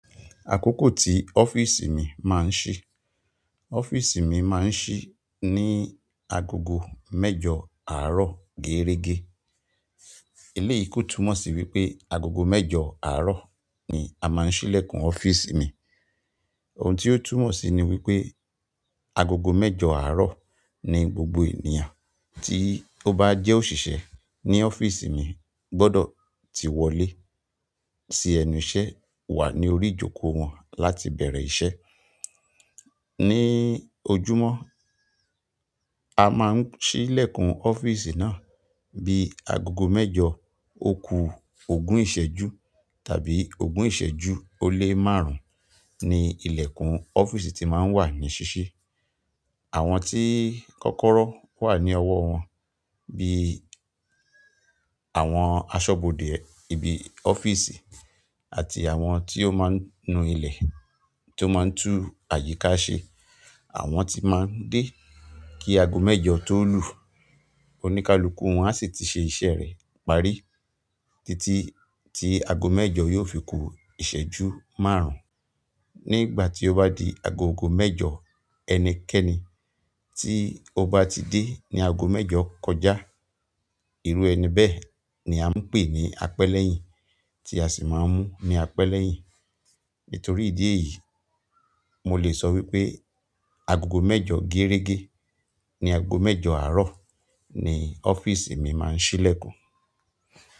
Akoko ti ọ́fíìsì mi maa n si ọ́fíìsì mi máa ń ṣí ní agogo mẹ́jọ àárọ̀ géérégé. Eléyìí kó túmọ̀ sí wípé agogo mẹ́jọ àárọ̀ ni a máa ń ṣílẹ̀kùn ọ́fíìsì mi. Ohun tí ó túmọ̀ sí ni wípé agogo mẹ́jọ àárọ̀ ni gbogbo ènìyàn tí ó bá jẹ́ òṣìṣẹ́ ní ọ́fíìsì mi gbọdọ̀ ti wọlé sí ẹnu iṣẹ́ wà ní orí ìjókòó wọn láti bẹ̀rẹ̀ iṣẹ́. Ni ojúmọ́, a máa ń ṣílẹ̀kùn ọ́fíìsì náà bí agogo mẹ́jọ, òkú ògún ìṣẹ́jú tàbí ògún ìṣẹ́jú ó lé márùn-ún ni ìlẹ̀kùn ọ́fíìsì ti máa ń wà ní ṣíṣí. Àwọn tí kọ́kọ́rọ́ wà ní ọwọ́ wọn bí àwọn asọ́bodè ibi ọ́fíìsì àti àwọn tí ó máa ń nu ilẹ̀ tó máa ń tún àyíká ṣe, àwọn tí máa ń dé kí agogo mẹ́jọ tó lù. Oníkálukú wọn a sì ti ṣe iṣẹ́ rẹ̀ parí títí tí agogo mẹ́jọ yóò fi ku ìṣẹ́jú márùn ni ìgbà ti o ba di agogo mẹ́jọ ẹnikẹ́ni ti o ba ti de ni ago mẹ́jọ kọjá, iru ẹni bẹ́ẹ̀ ni a npe ni apelehin. Nítorí ìdí èyí, mo lè sọ wípé agogo mẹ́jọ géérégé ní agogo mẹ́jọ àárọ̀ ni ọ́fíìsì mi máa ń ṣílẹ̀kùn.